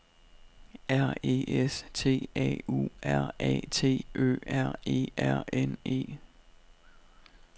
R E S T A U R A T Ø R E R N E